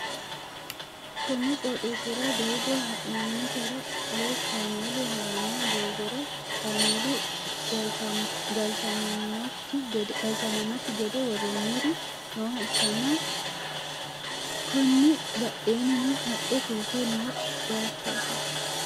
konni qooxxeesira doogo ha'nannitera woy kaameelu ha'ranno doogora, kaameelu galchamannokki gede worroonniri nooha ikkanna, konni badheennino haqqe fulte no bayichooti.